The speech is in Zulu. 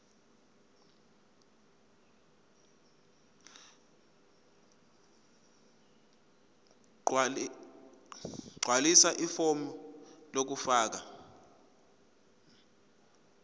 gqwalisa ifomu lokufaka